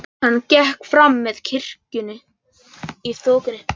Hann gekk fram með kirkjunni í þokunni.